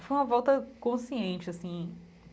Foi uma volta consciente, assim.